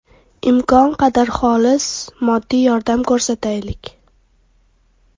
Imkon qadar xolis moddiy yordam ko‘rsataylik.